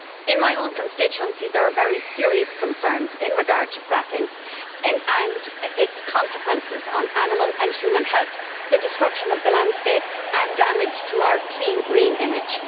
In my own constituency there are very serious concerns in regard to fracking and its consequences for animal and human health, the destruction of the landscape and damage to our clean, green image.